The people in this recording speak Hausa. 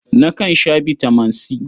Nakan sha bitaman C.